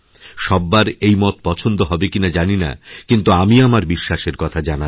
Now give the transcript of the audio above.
সব্বার এই মত পছন্দ হবে কিনা জানি না কিন্তু আমি আমার বিশ্বাসের কথাজানালাম